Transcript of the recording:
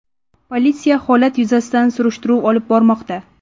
Politsiya holat yuzasidan surishtiruv olib bormoqda.